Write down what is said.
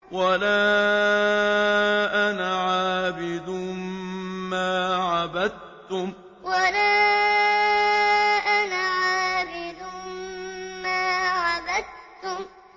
وَلَا أَنَا عَابِدٌ مَّا عَبَدتُّمْ وَلَا أَنَا عَابِدٌ مَّا عَبَدتُّمْ